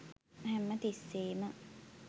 හැම තිස්සේම